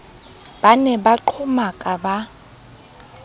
ba ne ba qhomaka ba